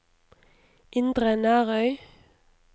Indre Nærøy